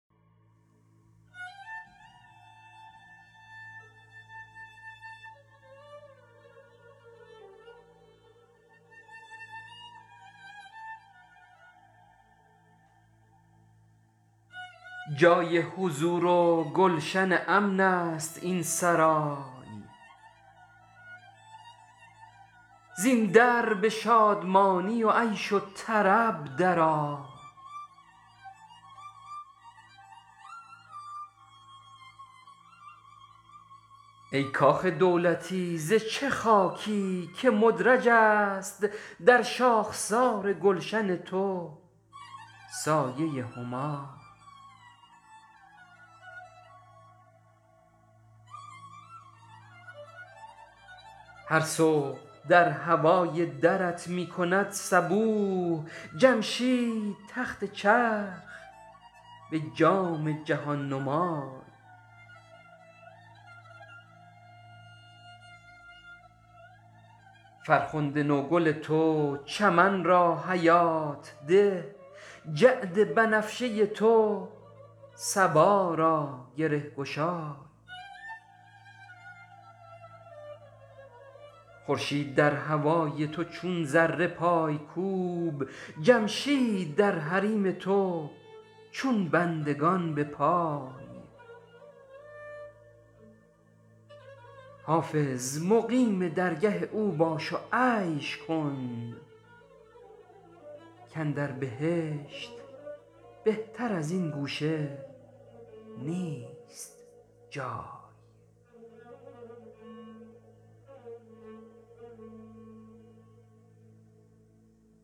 جای حضور و گلشن امن است این سرای زین در به شادمانی و عیش و طرب در آی ای کاخ دولتی ز چه خاکی که مدرج است در شاخسار گلشن تو سایه همای هر صبح در هوای درت می کند صبوح جمشید تخت چرخ به جام جهان نمای فرخنده نوگل تو چمن را حیات ده جعد بنفشه تو صبا را گره گشای خورشید در هوای تو چون ذره پای کوب جمشید در حریم تو چون بندگان بپای حافظ مقیم درگه او باش و عیش کن کاندر بهشت بهتر از این گوشه نیست جای